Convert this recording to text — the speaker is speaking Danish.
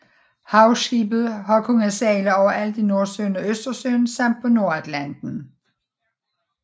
Havskibet har kunnet sejle overalt i Nordsøen og Østersøen samt på Nordatlanten